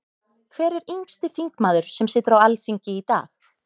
Hver er yngsti þingmaður sem situr á Alþingi í dag?